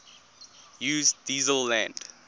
use diesel land